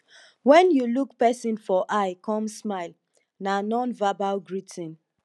when you look person for eye come smile na nonverbal greeting